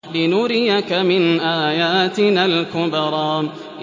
لِنُرِيَكَ مِنْ آيَاتِنَا الْكُبْرَى